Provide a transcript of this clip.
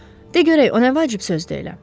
De görək, o nə vacib sözdür elə?